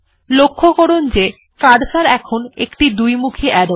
লক্ষ্য করুন যে কার্সর এখন একটি দুইমুখী আরো